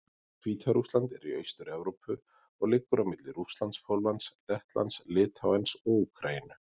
Hvíta-Rússland er í Austur-Evrópu og liggur á milli Rússlands, Póllands, Lettlands, Litháens og Úkraínu.